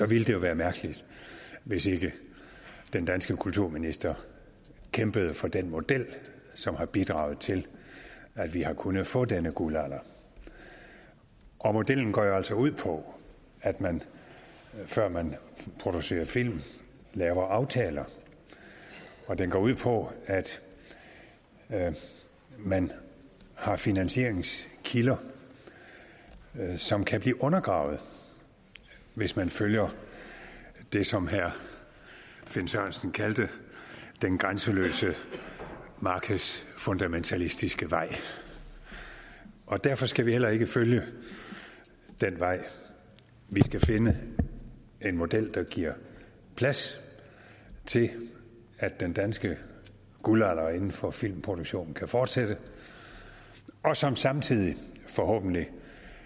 ville det jo være mærkeligt hvis ikke den danske kulturminister kæmpede for den model som har bidraget til at vi har kunnet få denne guldalder modellen går jo altså ud på at man før man producerer film laver aftaler og den går ud på at man har finansieringskilder som kan blive undergravet hvis man følger det som herre finn sørensen kaldte den grænseløse markedsfundamentalistiske vej og derfor skal vi heller ikke følge den vej vi skal finde en model der giver plads til at den danske guldalder inden for filmproduktion kan fortsætte og som samtidig forhåbentlig